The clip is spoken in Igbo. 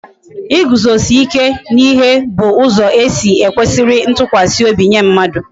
Iguzosi ike n'ihe bu ụzọ e si e kwesiri ntụkwasị obi nye mmadụ